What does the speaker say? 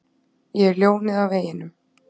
Ég er ljónið á veginum.